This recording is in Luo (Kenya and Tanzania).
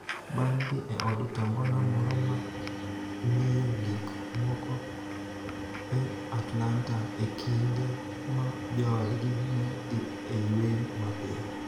bang� dhi e od to ngona moro ma ng�iyo gik moko e Atlanta e kinde ma joodgi ne dhi e yweyo mapiyo.